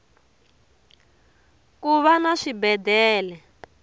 kuva na swibedele